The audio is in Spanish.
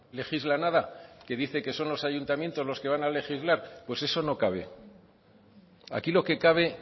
legisla nada una que dice que son los ayuntamientos los que van a legislar pues eso no cabe aquí lo que cabe